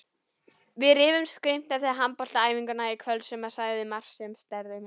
Við rifumst grimmt eftir handboltaæfinguna í kvöld og hann sagði margt sem særði mig.